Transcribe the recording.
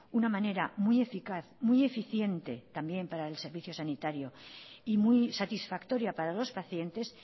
una manera muy eficaz muy eficiente también para el servicio sanitario y muy satisfactoria para los pacientes